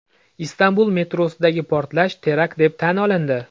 Istanbul metrosidagi portlash terakt deb tan olindi.